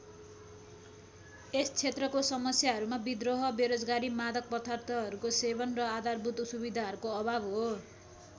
यस क्षेत्रको समस्याहरूमा विद्रोह बेरोजगारी मादक पदार्थहरूको सेवन र आधारभूत सुविधाहरूको अभाव हो।